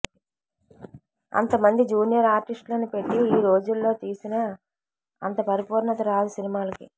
అంత మంది జూనియర్ ఆర్టిస్టులని పెట్టి ఈ రోజుల్లో తీసినా అంత పరిపూర్ణత రాదు సినిమాలకి